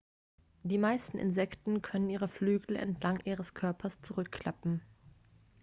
die meisten insekten können ihre flügel entlang ihres körpers zurückklappen